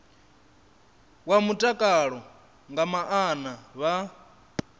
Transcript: wa mutakalo nga maana vha